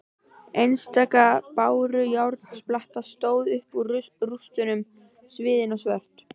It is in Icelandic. Einstaka bárujárnsplata stóð upp úr rústunum sviðin og svört.